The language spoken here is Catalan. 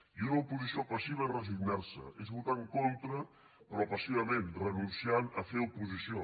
i una oposició passiva és resignar se és votar en contra però passivament renunciant a fer oposició